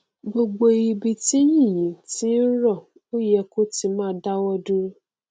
gbogbo ibi tí yìnyín ti ń rọ ó yẹ kí ó ti máa dáwọ dúro